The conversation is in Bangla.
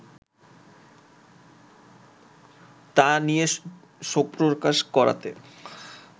তাই নিয়ে শোকপ্রকাশ করাতে